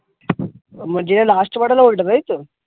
মানে যেটা last এ পাঠালে ওইটা, তাই তো?